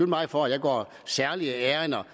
mig for at jeg går særlige ærinder